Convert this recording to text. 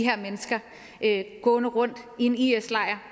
her mennesker gående rundt i en is lejr